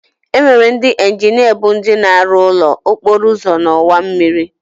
Enwere ndị injinia bụ ndị na-arụ ụlọ, okporouzo na ọwa mmịrị.